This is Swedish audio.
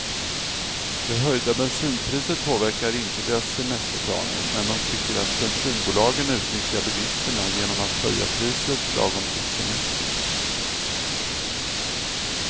Det höjda bensinpriset påverkar inte deras semesterplaner, men de tycker att bensinbolagen utnyttjar bilisterna genom att höja priset lagom till semestern.